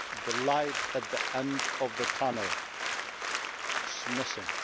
The light at the end of the tunnel is missing.